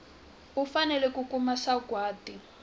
u fanele ku kuma sagwati